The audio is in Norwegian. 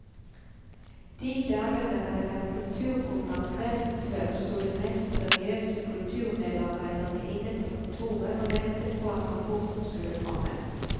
De dager det hadde vært kulturprogram kvelden før, sto de mest seriøse kulturmedarbeidere inne på kontoret og ventet på at rapporten skulle komme.